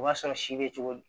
O b'a sɔrɔ si bɛ cogo di